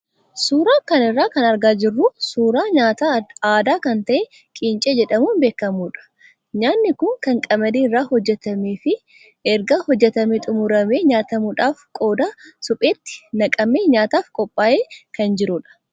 Suuraa kana irraa kan argaa jirru suuraa nyaata aadaa kan ta'e qincee jedhamuun beekamudha. Nyaatni kun kan qamadii irraa hojjatamee fi erga hojjatamee xumuramee nyaatamuudhaaf qodaa supheetti naqamee nyaataaf qophaa'ee kan jirudha.